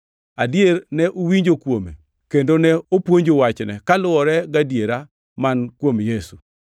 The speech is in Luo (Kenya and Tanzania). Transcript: Adier, ne uwinjo kuome, kendo ne opuonju wachne, kaluwore gadiera man kuom Yesu.